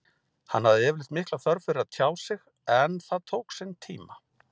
Hann hafði yfirleitt mikla þörf fyrir að tjá sig en það tók sinn tíma.